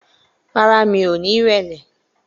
Rárá, mi ò ní ìrẹ̀lẹ̀